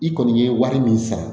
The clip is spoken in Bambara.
I kɔni ye wari min sara